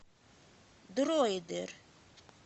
дройдер